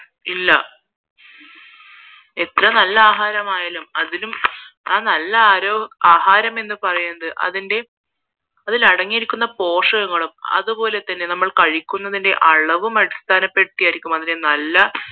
ഇല്ല എത്ര നല്ല ആഹാരമായാലും അതിലും ആ നല്ല ആഹരം എന്ന് പറയുന്നത് അതിന്റെ അതില് അടങ്ങിയിരിക്കുന്ന പോഷകങ്ങളും അതു പോലെ അതുപോലെ നമ്മൾ കഴിക്കുന്നത്തിന്റെ അളവും അടിസ്ഥാനപ്പെടുത്തിയാണ് ഒരു നല്ല